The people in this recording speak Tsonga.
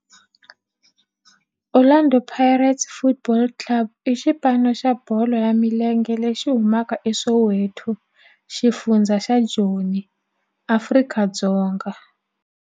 Orlando Pirates Football Club i xipano xa bolo ya milenge lexi humaka eSoweto, xifundzha xa Joni, Afrika-Dzonga.